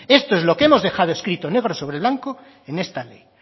esto lo que hemos dejado escrito en negro sobre blanco en esta ley